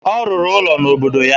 Ọ rụrụ ụlọ n'obodo ya